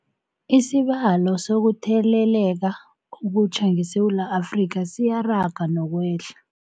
Isibalo sokuthele leka okutjha ngeSewula Afrika siyaraga nokwehla.